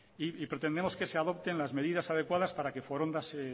pretendemos que se adopten las medidas adecuadas para que foronda se